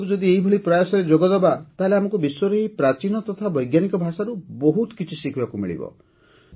ଆମେ ସବୁ ଯଦି ଏହିଭଳି ପ୍ରୟାସରେ ଯୋଗଦେବା ତାହେଲେ ଆମକୁ ବିଶ୍ୱର ଏହି ପ୍ରାଚୀନ ତଥା ବୈଜ୍ଞାନିକ ଭାଷାରୁ ବହୁତ କିଛି ଶିଖିବାକୁ ମିଳିବ